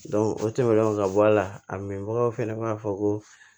o tɛmɛnen kɔ ka bɔ a la a mɛn bagaw fɛnɛ b'a fɔ ko